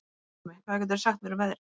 Salome, hvað geturðu sagt mér um veðrið?